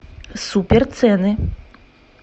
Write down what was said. супер цены